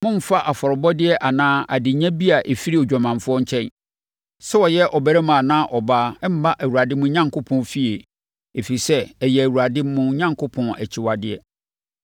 Mommfa afɔrebɔdeɛ anaa adenya bi a ɛfiri odwamanfoɔ nkyɛn, sɛ ɔyɛ ɔbarima anaa ɔbaa, mma Awurade mo Onyankopɔn fie, ɛfiri sɛ, ɛyɛ Awurade mo Onyankopɔn akyiwadeɛ.